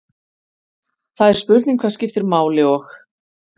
Það er spurning hvað skiptir máli og.